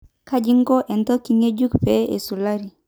Kaji iko enteke ngejuk pee esulari?